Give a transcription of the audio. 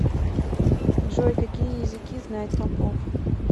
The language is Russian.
джой какие языки знает попов